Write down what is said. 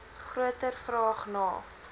groter vraag na